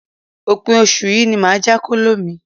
Òpin oṣù yìí ni màá já kóló mi.